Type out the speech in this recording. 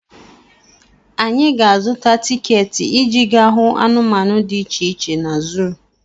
Anyị ga-azụta tiketi iji gaa hụ anụmanụ dị iche iche na zuu.